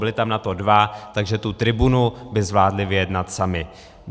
Byli tam na to dva, takže tu tribunu by zvládli vyjednat sami.